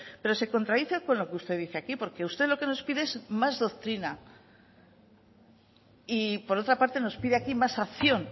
pero se contradice con lo que usted dice aquí porque usted lo que nos pide es más doctrina y por otra parte nos pide aquí más acción